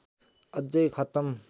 अझै खत्म